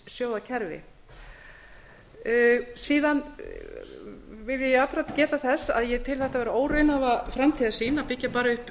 lífeyrissjóðakerfi síðan vil ég jafnframt geta þess að ég tel þetta vera óraunhæfa framtíðarsýn að byggja bara